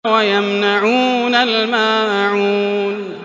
وَيَمْنَعُونَ الْمَاعُونَ